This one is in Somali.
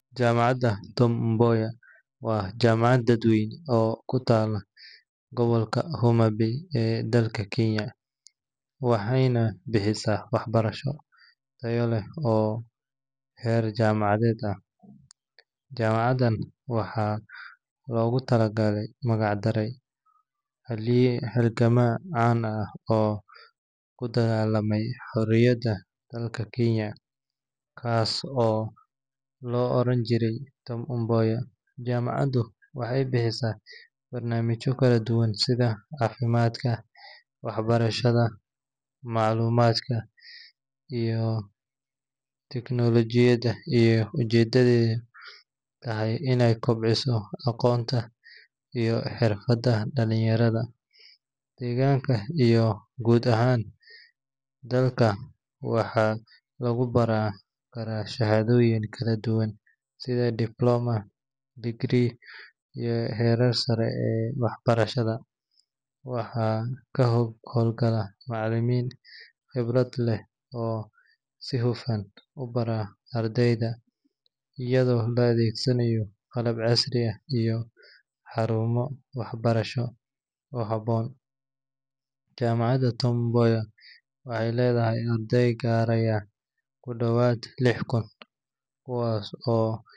Jaamacadda Tom Mboya waa jaamacad dadweyne oo ku taalla gobolka Homa Bay ee dalka Kenya, waxayna bixisaa waxbarasho tayo leh oo heer jaamacadeed ah. Jaamacaddan waxaa loogu magac daray halgamaa caan ah oo u dagaallamay xorriyadda dalka Kenya, kaas oo la oran jiray Tom Mboya. Jaamacaddu waxay bixisaa barnaamijyo kala duwan sida caafimaadka, waxbarashada, maamulka, iyo tiknoolajiyadda, iyadoo ujeeddadeedu tahay inay kobciso aqoonta iyo xirfadda dhalinyarada deegaanka iyo guud ahaan dalka. Waxaa lagu baran karaa shahaadooyin kala duwan sida Diploma, Degree, iyo heerarka sare ee waxbarashada. Waxaa ka howlgala macallimiin khibrad leh oo si hufan u bara ardayda, iyadoo la adeegsanayo qalab casri ah iyo xarumo waxbarasho oo habboon. Jaamacadda Tom Mboya waxay leedahay arday gaaraya ku dhawaad lix kun, kuwaas oo.